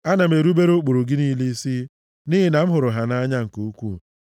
Ana m erubere ụkpụrụ gị niile isi nʼihi na m hụrụ ha nʼanya nke ukwuu.